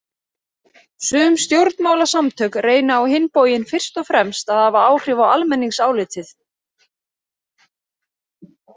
Sum stjórnmálasamtök reyna á hinn bóginn fyrst og fremst að hafa áhrif á almenningsálitið.